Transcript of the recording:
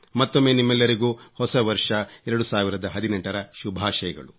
ಮತ್ತೊಮ್ಮೆ ನಿಮ್ಮೆಲ್ಲರಿಗೂ ಹೊಸ ವರ್ಷ 2018 ರ ಶುಭಾಶಯಗಳು